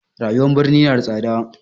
Rayuwar birni tana da tsada.